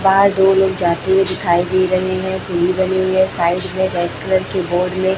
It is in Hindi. बाहर दो लोग जाते हुए दिखाई दे रहें हैं सीढ़ी बनी हुई है साइड में ब्लैक कलर की बोर्ड में--